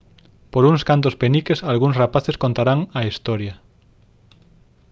por uns cantos peniques algúns rapaces contarán a historia